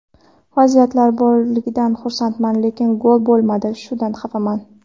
Vaziyatlar borligidan xursandman, lekin gol bo‘lmadi, shundan xafaman.